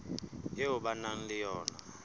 eo ba nang le yona